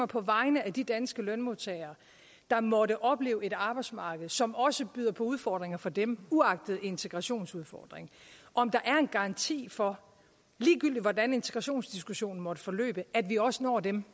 på vegne af de danske lønmodtagere der måtte opleve et arbejdsmarked som også byder på udfordringer for dem uagtet integrationsudfordringen om der er en garanti for ligegyldigt hvordan integrationsdiskussionen måtte forløbe at vi også når dem